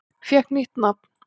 Fékk nýtt nafn